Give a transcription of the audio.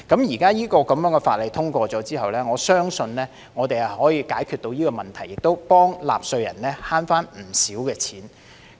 現在法例通過後，我相信我們可以解決這問題，亦替納稅人節省了不少金錢。